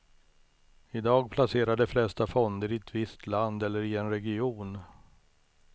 I dag placerar de flesta fonder i ett visst land eller i en region.